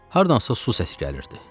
Hardansa su səsi gəlirdi.